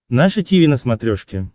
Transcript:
наше тиви на смотрешке